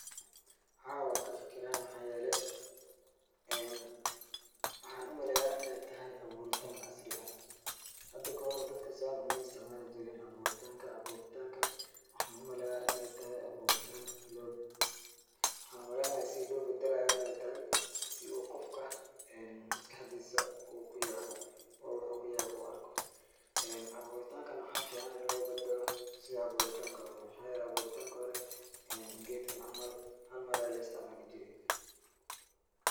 Haa waan ka fikiraa maxaa yeelay waxaan umaleeyaa in ay tahay abuuritaan casri ah. Hada ka hor dadka saan u ma isticmaalijirin abuuritanka. Abuuritankan waxaan u maleyaa in ay tahay abuuritaan loo bedelay. Waxaan u maleynaya si loo bedelaayo in ay tahay si uu qofka maskaxdiisa ku yaabo oo waxa uu kyu yaabo u arko. Abuuritankan waxaa ficaan inay loo bedelo sidii abuuritanki hore. Maxaa yeelay abuuritanki hore geedkan camal hal mar ayaa la istacmaali jiray.